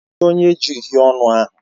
Kedu onye ji uhiè ọnụ ahụ?